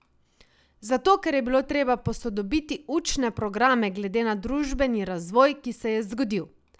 Zato, ker je bilo treba posodobiti učne programe glede na družbeni razvoj, ki se je zgodil.